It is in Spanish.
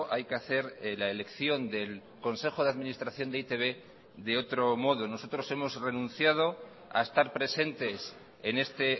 hay que hacer la elección del consejo de administración de e i te be de otro modo nosotros hemos renunciado a estar presentes en este